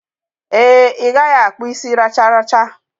Ee, I gaghi akpu isi racharacha.